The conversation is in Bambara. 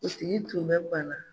sigi tun bɛ banna